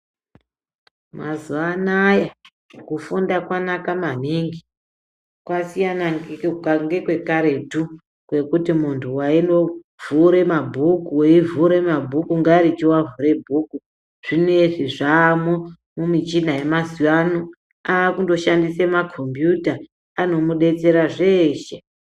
Mazuva anaya kufunda kwanaka maningi. Kwasiyana nekwekaretu kwekuti muntu waindovhure mabhuku, ngaricho avhure bhuku, zvineizvi zvamumichina yemazuva ano, vakundoshandisa makhombiyuta, anomudetsera zveshe.